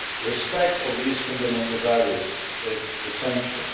Respect of these fundamental values is essential.